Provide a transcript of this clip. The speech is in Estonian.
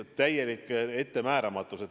Täielik ettemääramatus.